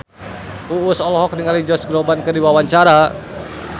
Uus olohok ningali Josh Groban keur diwawancara